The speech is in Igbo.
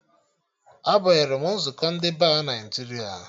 A banyere m nzukọ ndị Ba Naịjiria